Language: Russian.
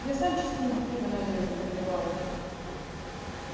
я сам частенько пиво на одежду проливаю